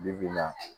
Bi bi in na